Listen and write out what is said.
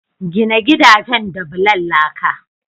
Gina gidajen da bulan laka.